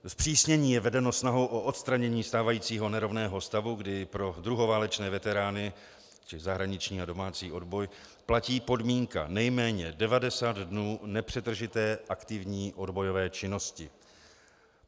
Zpřísnění je vedenou snahou o odstranění stávajícího nerovného stavu, kdy pro druhoválečné veterány, tedy zahraniční a domácí odboj, platí podmínka nejméně 90 dnů nepřetržité aktivní odbojové činnosti.